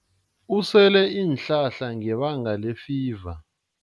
Usele iinhlahla ngebanga lefiva.